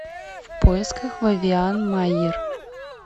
в поисках вивиан майер